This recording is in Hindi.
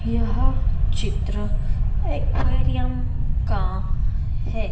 यह चित्र एक्वेरियम का है।